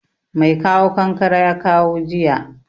Mai kawo kankare ya kawo jiya